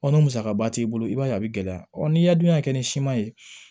Ɔ n'o musaka b'i bolo i b'a ye a bi gɛlɛya n'i y'a dun k'a kɛ ni siman ye